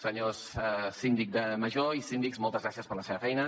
senyors síndic major i síndics moltes gràcies per la seva feina